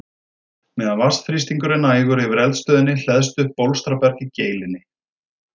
Meðan vatnsþrýstingur er nægur yfir eldstöðinni hleðst upp bólstraberg í geilinni.